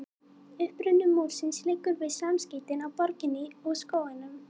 uppruni múrsins liggur við samskeytin á borginni og skóginum